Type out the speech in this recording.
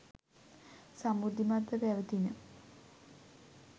සමෘද්ධිමත්ව පැවැතිණ.